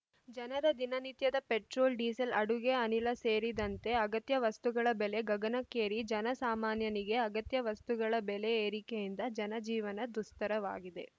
ಜನರ ದಿನ ನಿತ್ಯದ ಪೆಟ್ರೋಲ್‌ ಡಿಸೇಲ್‌ ಅಡುಗೆ ಅನಿಲ ಸೇರಿದಂತೆ ಅಗತ್ಯ ವಸ್ತುಗಳ ಬೆಲೆ ಗಗನಕ್ಕೇರಿ ಜನ ಸಾಮಾನ್ಯನಿಗೆ ಅಗತ್ಯ ವಸ್ತುಗಳ ಬೆಲೆ ಏರಿಕೆಯಿಂದ ಜನ ಜೀವನ ದುಸ್ತರವಾಗಿದೆ